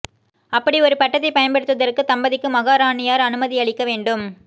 அப்படி ஒரு பட்டத்தை பயன்படுத்துவதற்கு தம்பதிக்கு மகாராணியார் அனுமதியளிக்க வேண்டும்